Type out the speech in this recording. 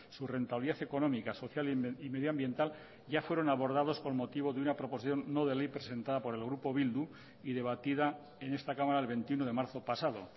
su rentabilidad económica social y medioambiental ya fueron abordados con motivo de una proposición no de ley presentada por el grupo bildu y debatida en esta cámara el veintiuno de marzo pasado